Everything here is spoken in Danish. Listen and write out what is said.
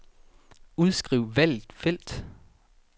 Udskriv valgte felt.